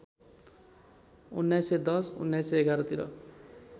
१९१० १९११ तिर